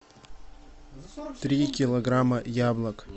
три килограмма яблок